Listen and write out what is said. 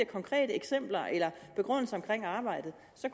konkrete eksempler eller begrundelser i forbindelse med arbejdet så